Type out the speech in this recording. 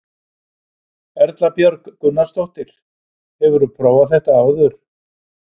Erla Björg Gunnarsdóttir: Hefurðu prófað þetta áður?